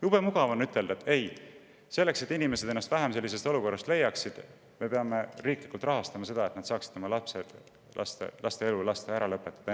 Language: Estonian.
Jube mugav on ütelda, et selleks, et inimesed ennast vähem sellisetest olukordadest leiaksid, me peame riiklikult rahastama seda, et nad saaksid lasta oma laste elu enne sündi ära lõpetada.